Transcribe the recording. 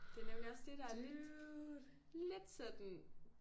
Det nemlig også det der lidt lidt sådan